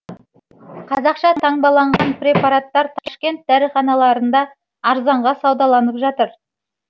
қазақша таңбаланған препараттар ташкент дәріханаларында арзанға саудаланып жатыр